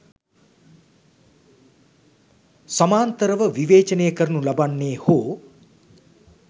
සමාන්තරව විවේචනය කරනු ලබන්නේ හෝ